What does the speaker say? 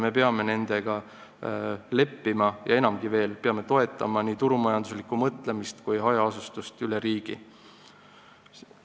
Me peame nende asjadega leppima ja enamgi veel, me peame toetama nii turumajanduslikku mõtlemist kui ka hajaasustust üle riigi.